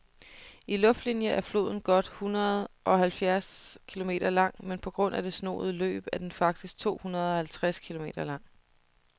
I luftlinie er floden godt hundredeoghalvfjerds kilometer lang, men på grund af det snoede løb er den faktisk tohundredeoghalvtreds kilometer lang.